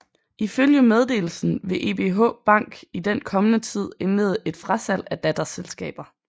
Ifølge meddelelsen vil ebh bank i den kommende tid indlede et frasalg af datterselskaber